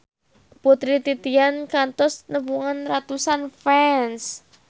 Putri Titian kantos nepungan ratusan fans